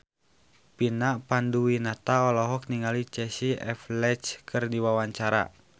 Vina Panduwinata olohok ningali Casey Affleck keur diwawancara